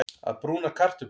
Að brúna kartöflur